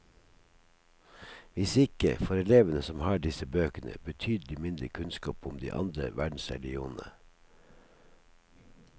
Hvis ikke, får elevene som har disse bøkene, betydelig mindre kunnskap om de andre verdensreligionene.